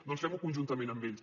doncs fem ho conjuntament amb ells